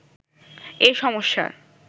এ সমস্যার